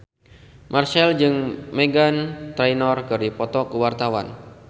Marchell jeung Meghan Trainor keur dipoto ku wartawan